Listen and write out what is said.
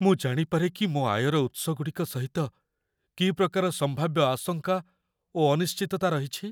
ମୁଁ ଜାଣିପାରେ କି ମୋ ଆୟର ଉତ୍ସଗୁଡ଼ିକ ସହିତ କି ପ୍ରକାର ସମ୍ଭାବ୍ୟ ଆଶଙ୍କା ଓ ଅନିଶ୍ଚିତତା ରହିଛି?